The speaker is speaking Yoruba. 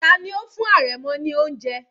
Tani ó fún àrẹ̀mọ ní oúnjẹ?